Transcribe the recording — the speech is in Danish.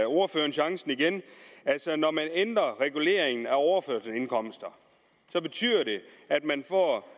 ordføreren chancen igen altså når man ændrer reguleringen af overførselsindkomster betyder det at man får